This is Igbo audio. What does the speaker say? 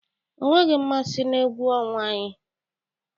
O nweghị mmasị na egwu ọnwa anyị.